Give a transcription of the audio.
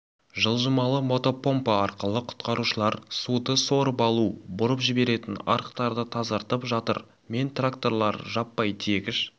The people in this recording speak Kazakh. жылжымалы мотопомпа арқылы құтқарушылар суды сорып алу бұрып жіберетін арықтарды тазартып жатыр мен тракторлары жаппай тиегіш